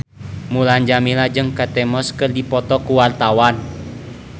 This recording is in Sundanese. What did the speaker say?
Mulan Jameela jeung Kate Moss keur dipoto ku wartawan